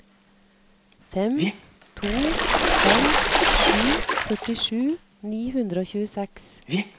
fem to fem sju førtisju ni hundre og tjueseks